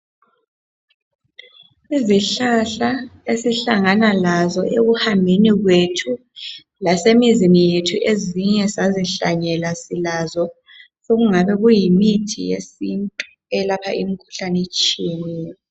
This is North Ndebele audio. Izihlahla esihlangana nazo ekuhambeni kwethu , lasemizini yethu ezinye sazihlanyela silazo sekungabe kuyimithi yesintu eyelapha imikhuhlane etshiyeneyo